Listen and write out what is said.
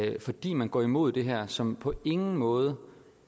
at fordi man går imod det her som på ingen måde